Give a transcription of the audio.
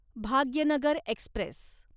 Bhagyanagar Express